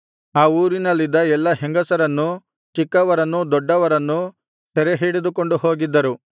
ಆ ಊರಿನಲ್ಲಿದ್ದ ಎಲ್ಲಾ ಹೆಂಗಸರನ್ನೂ ಚಿಕ್ಕವರನ್ನೂ ದೊಡ್ಡವರನ್ನೂ ಸೆರೆಹಿಡಿದುಕೊಂಡು ಹೋಗಿದ್ದರು